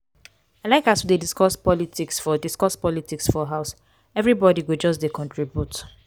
i like as we dey discuss politics for discuss politics for house everybodi go just dey contribute.